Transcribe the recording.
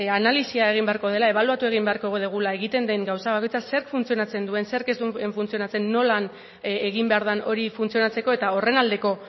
analisia egin beharko dela ebaluatu egin beharko dugula egiten den gauza bakoitza zer funtzionatzen duen zer ez duen funtzionatzen nola egin behar den hori funtzionatzeko eta horren aldeko